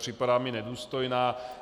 Připadá mi nedůstojná.